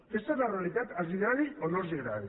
aquesta és la realitat els agradi o no els agradi